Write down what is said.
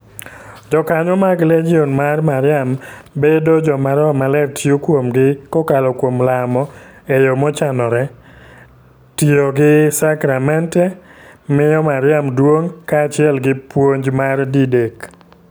Jokanyo mag Legion mar Mariam bedo joma roho maler tiyo kuomgi kokalo kuom lamo e yo mochanore, tiyo gi sakramente, miyo Mariam duong' kaachiel gi puonj mar Didek.